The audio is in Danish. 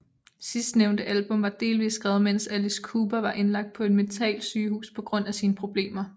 Sidsnævnte album var delvist skrevet mens Alice Cooper var indlagt på et mentalsygehus på grund af sine problemer